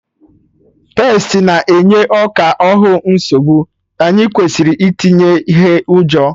Pestị na-enye ọka ahụ nsogbu, anyị kwesịrị itinye ihe ụjọ